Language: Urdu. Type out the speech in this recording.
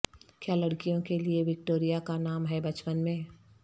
کیا لڑکیوں کے لئے وکٹوریا کا نام ہے بچپن میں